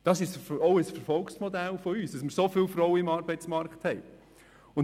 Es ist ein Erfolgsmodell von uns, dass wir so viele Frauen im Arbeitsmarkt haben.